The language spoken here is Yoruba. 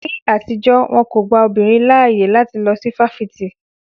Ní àtijọ́, won kò gba obìnrin láyè láti lọ sí fáfitì